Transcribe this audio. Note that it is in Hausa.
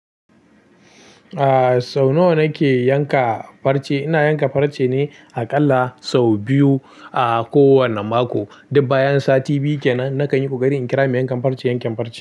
Ah sau nawa nake yanka farce, ina yanka farce ne aƙalla sau biyu a kowana mako. Dubba bayan sati biyu kenan nakan yi ƙoƙari in kira mai yankan farce, yanken farce.